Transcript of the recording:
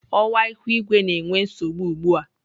Ọwa ihu igwe na-enwe nsogbu ugbu a.